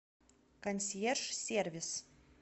консьерж сервис